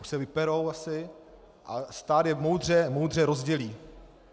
Už se vyperou, asi, a stát je moudře rozdělí.